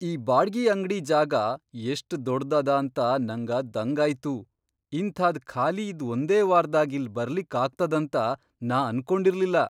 ಈ ಬಾಡ್ಗಿ ಅಂಗ್ಡಿ ಜಾಗಾ ಎಷ್ಟ್ ದೊಡ್ದ್ ಅದ ಅಂತ ನಂಗ ದಂಗಾಯ್ತು. ಇಂಥಾದ್ ಖಾಲಿ ಇದ್ ಒಂದೇ ವಾರ್ದಾಗ್ ಇಲ್ ಬರ್ಲಿಕ್ಕ್ ಆಗ್ತದಂತ ನಾ ಅನ್ಕೊಂಡಿರ್ಲಿಲ್ಲಾ.